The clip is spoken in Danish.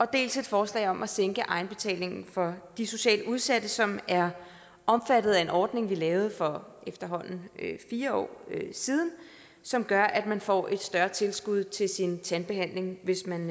dels et forslag om at sænke egenbetalingen for de socialt udsatte som er omfattet af en ordning vi lavede for efterhånden fire år siden som gør at man får et større tilskud til sin tandbehandling hvis man